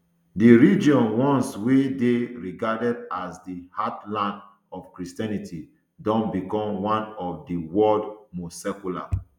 di region once wey dey regarded as di heartland of christianity don become one of di world most secular